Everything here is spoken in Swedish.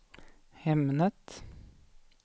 ämnet